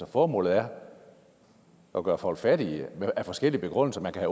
formålet er at gøre folk fattige med forskellige begrundelser man kan